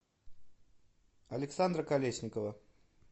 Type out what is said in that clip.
александра колесникова